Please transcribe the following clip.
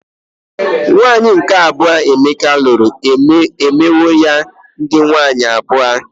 Nwaanyi nke abuo Emeka lụrụ emewo ya dị nwaanyị abụọ.